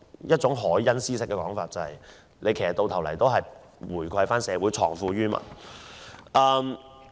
套用凱恩斯的說法，都是為了回饋社會，藏富於民。